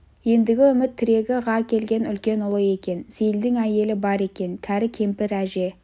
ендігі үміт тірегі ға келген үлкен ұлы екен сейілдің әйелі бар екен кәрі кемпір әже